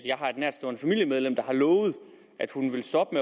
jeg har et nærtstående familiemedlem der har lovet at hun vil stoppe